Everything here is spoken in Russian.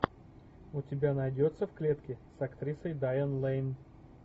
у тебя найдется в клетке с актрисой дайан лейн